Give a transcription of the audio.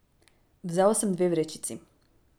Vzel sem dve vrečici.